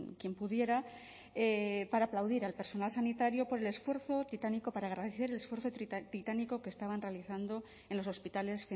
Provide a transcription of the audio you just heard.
quien pudiera para aplaudir al personal sanitario por el esfuerzo titánico para agradecer el esfuerzo titánico que estaban realizando en los hospitales